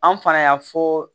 An fana y'a fɔ